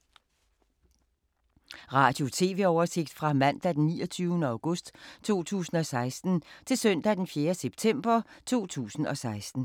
Radio/TV oversigt fra mandag d. 29. august 2016 til søndag d. 4. september 2016